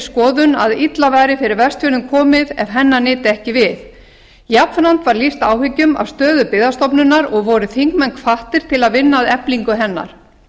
skoðun að illa væri fyrir vestfjörðum komið ef hennar nyti ekki við jafnframt var lýst áhyggjum af stöðu byggðastofnunar og voru þingmenn hvattir til að vinna að eflingu hennar